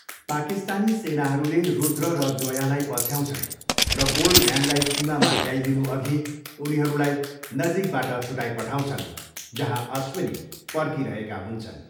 पाकिस्तानी सेनाहरूले रुद्र र जोयालाई पछ्याउँछन् र गोल्डम्यानलाई सीमामा ल्याइदिनुअघि उनीहरूलाई नजिकबाट छुटाइपठाउँछन्, जहाँ अश्विनी पर्खिरहेका हुन्छन्।